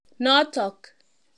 Notok.